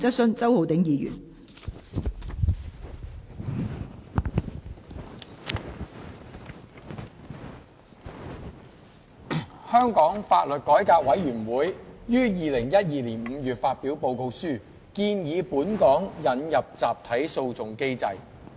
香港法律改革委員會於2012年5月發表報告書，建議本港引入集體訴訟機制。